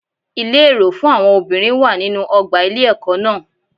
Ilé èrò fún àwọn obìnrin wà nínú ọgbà ilé ẹkọ náà.